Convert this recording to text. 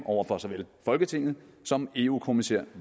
over for såvel folketinget som eu kommissær